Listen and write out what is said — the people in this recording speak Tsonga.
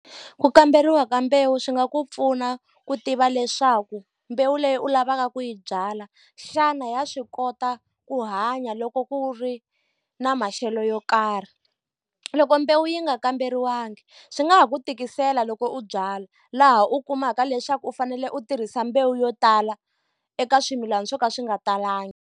Ku kamberiwa ka mbewu swi nga ku pfuna ku tiva leswaku mbewu leyi u lavaka ku yi byala, xana ya swi kota ku hanya loko ku ri na maxelo yo karhi. Loko mbewu yi nga kamberiwangi swi nga ha ku tikisela loko u byala, laha u kumaka leswaku u fanele u tirhisa mbewu yo tala eka swimilana swo ka swi nga talangi.